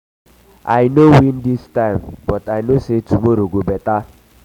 i no win dis time but i know say tomorrow go beta